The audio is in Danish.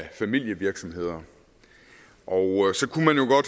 i familievirksomheder og